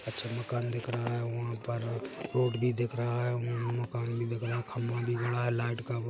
कच्चा मकान दिख रहा है वहाँ पर रोड भी दिख रहा है मम मकान भी दिख रहा है खंबा दिख रहा है लाईट का--